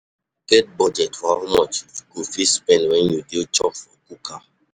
Get budget for how much you go fit spend when you dey chop for bukka